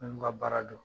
Minnu ka baara don